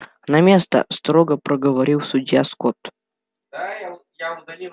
на место строго проговорил судья скотт